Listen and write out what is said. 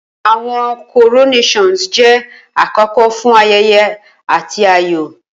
Awọn coronations jẹ akoko fun ayẹyẹ ati ayọ.